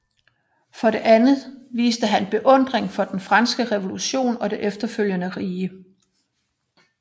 For det andet viste han beundring for den franske revolution og det efterfølgende rige